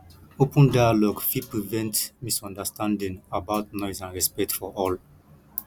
open dialogue fit prevent misunderstanding about noise and respect for all